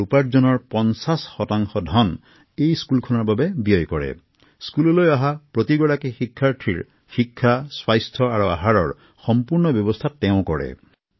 এই পঢ়াশালিলৈ অহা সকলো ছাত্ৰছাত্ৰীৰ শিক্ষা স্বাস্থ্য আৰু খাদ্যৰ ব্যয় তেওঁ নিজে বহন কৰিছিল